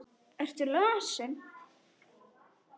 Ertu lasin?